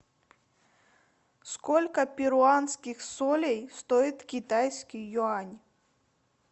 сколько перуанских солей стоит китайский юань